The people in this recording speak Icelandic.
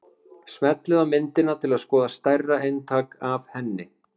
Smellið á myndina til að skoða stærra eintak af henni.